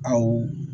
Awɔ